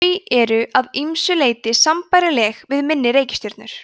þau eru að ýmsu leyti sambærileg við minni reikistjörnur